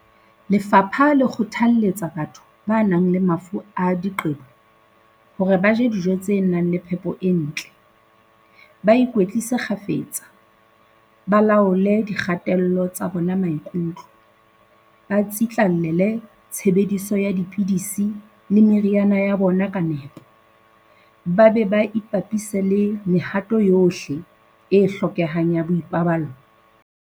Lefapha le kgothalletsa batho ba nang le mafu a diqe-bo hore ba je dijo tse nang le phepo e ntle, ba ikwetlise kgafetsa, ba laole dikgatello tsa bona maikutlo, ba tsitla-llele tshebediso ya dipidisi le meriana ya bona ka nepo, ba be ba ipapise le mehato yohle e hlokehang ya boipaballo.